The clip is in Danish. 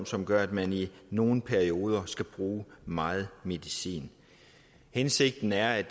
som gør at man i nogle perioder skal bruge meget medicin hensigten er at